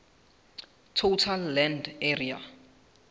total land area